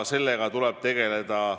Sellega tuleb pidevalt tegeleda.